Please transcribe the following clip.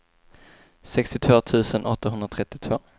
sextiotvå tusen åttahundratrettiotvå